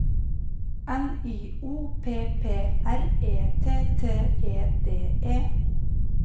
N Y O P P R E T T E D E